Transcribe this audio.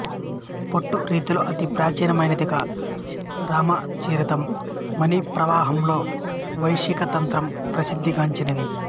పొట్టు రీతిలో అతి ప్రాచీనమైనదిగా రామచరితం మణిప్రవాలంలో వైశికతంత్రం ప్రసిద్ధిగాంచినవి